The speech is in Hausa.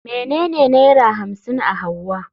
Menene naira hamsin a hauwa?